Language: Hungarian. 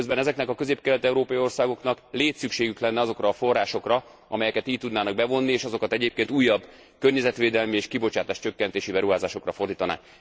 Miközben ezeknek a közép kelet európai országoknak létszükségük lenne azokra a forrásokra, amelyeket így tudnának bevonni, és azokat egyébként újabb környezetvédelmi és kibocsátáscsökkentési beruházásokra fordítanák.